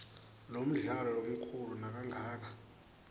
lomdlalo lomkhulu nakangaka